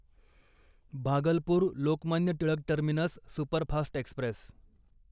Bhagalpur Lokmanya Tilak terminus superfast Express